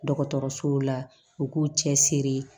Dɔgɔtɔrɔsow la u k'u cɛ siri